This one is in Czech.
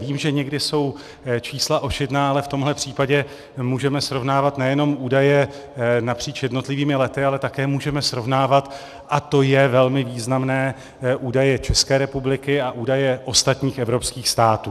Vím, že někdy jsou čísla ošidná, ale v tomhle případě můžeme srovnávat nejenom údaje napříč jednotlivými lety, ale také můžeme srovnávat, a to je velmi významné, údaje České republiky a údaje ostatních evropských států.